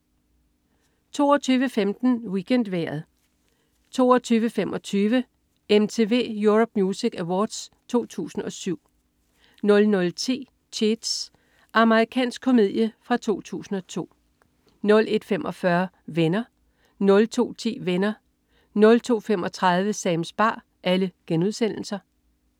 22.15 WeekendVejret 22.25 MTV Europe Music Awards 2007 00.10 Cheats. Amerikansk komedie fra 2002 01.45 Venner* 02.10 Venner* 02.35 Sams bar*